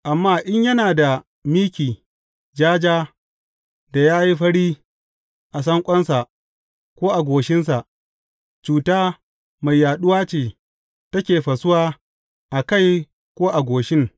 Amma in yana da miki ja ja da ya yi fari a sanƙonsa ko a goshinsa, cuta mai yaɗuwa ce take fasuwa a kai ko a goshin.